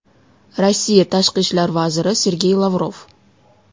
Rossiya Tashqi ishlar vaziri Sergey Lavrov.